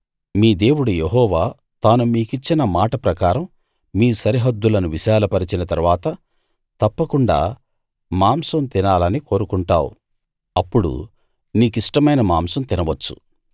మీ దేవుడు యెహోవా తాను మీ కిచ్చిన మాట ప్రకారం మీ సరిహద్దులను విశాలపరచిన తరువాత తప్పకుండా మాంసం తినాలని కోరుకుంటావు అప్పుడు నీకిష్టమైన మాంసం తినవచ్చు